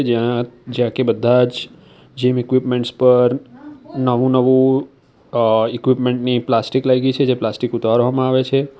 જયાં જ્યાં કે બધાજ જીમ ઈક્વિપમેન્ટ્સ પર નવું નવું અ ઇક્વિપમેન્ટ ની પ્લાસ્ટિક લાય્ગી છે જે પ્લાસ્ટિક ઉતારવામાં આવે છે.